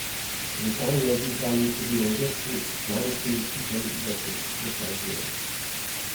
Zakaj ne bi dali priložnosti manjšim ekipam, da se dokažejo?